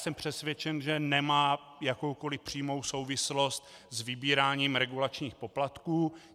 Jsem přesvědčen, že nemá jakoukoli přímou souvislost s vybíráním regulačních poplatků.